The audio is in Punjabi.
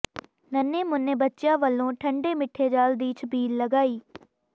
ਨੰਨੇ ਮੁੰਨੇ ਬੱਚਿਆਂ ਵੱਲੋਂ ਠੰਡੇ ਮਿੱਠੇ ਜਲ ਦੀ ਛਬੀਲ ਲਗਾਈ